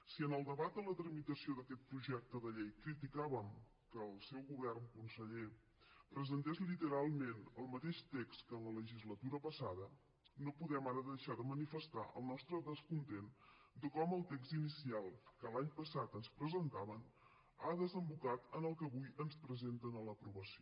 si en el debat a la tramitació d’aquest projecte de llei criticàvem que el seu govern conseller presentés literalment el mateix text que en la legislatura passada no podem ara deixar de manifestar el nostre descontentament de com el text inicial que l’any passat ens presentaven ha desembocat en el que avui ens presenten a l’aprovació